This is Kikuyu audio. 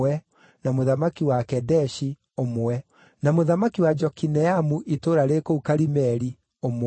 na mũthamaki wa Kedeshi, ũmwe, na mũthamaki wa Jokineamu itũũra rĩ kũu Karimeli, ũmwe,